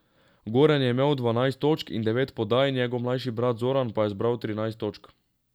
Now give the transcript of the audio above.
Goran je imel dvanajst točk in devet podaj, njegov mlajši brat Zoran pa je zbral trinajst točk.